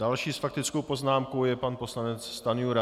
Další s faktickou poznámkou je pan poslanec Stanjura.